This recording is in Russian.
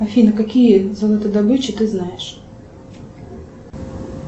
афина какие золотодобычи ты знаешь